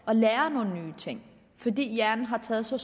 at lære nogle nye ting fordi hjernen har taget så